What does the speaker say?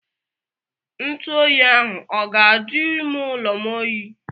Ntụ oyi ahụ ọ ga-ajụ ime ụlọ m oyi?